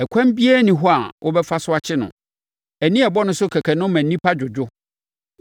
Ɛkwan biara nni hɔ a wobɛfa so akye no; ani a ɛbɔ ne so kɛkɛ no ma nnipa dwodwo.